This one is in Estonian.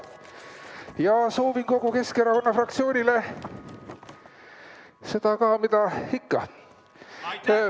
Ja soovin kogu Keskkonna fraktsioonile seda ka, mida ikka.